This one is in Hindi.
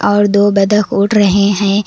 और दो बत्तख उड़ रहे हैं।